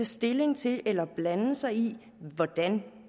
stilling til eller blande sig i hvordan